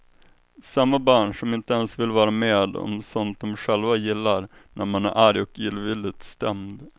Samma barn som inte ens vill vara med om sånt dom själva gillar, när man är arg och illvilligt stämd.